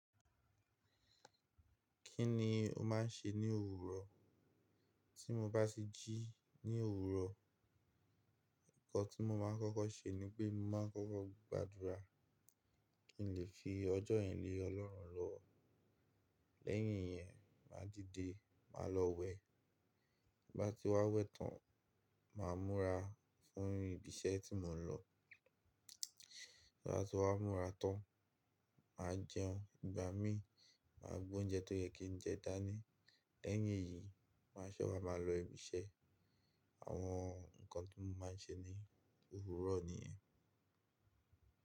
Kí ni o máa ń ṣe ní òwúrọ̀? Tí mo bá sì jí ní òwúrọ̀, nǹkan tí mo máa ń kọ́kọ́ ṣe ni pé mo máa ń kọ́kọ́ gbàdúrà kí n lè fi ọjọ́ yìí lé Ọlọ́run lọ. Lẹ́yìn yẹn máa dìde, máa lọ wẹ. Bí bá ti wá wẹ tán, màá múra fún ibi iṣẹ́ tí mò ń lọ. Bí bá ti wá múra tán, mà á jẹun. Ìgbà mí, mà á gbé oúnjẹ tó yẹ kí n jẹ dání. Lẹ́yìn èyí, màá ṣe wa máa lọ ibi iṣẹ́. Àwọn nǹkan tí mo máa ń ṣe ní òwúrọ̀ niyẹn.